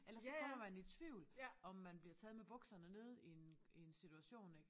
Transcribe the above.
Eller så kommer man i tvivl om man bliver taget med buskerne nede i en i en situation ik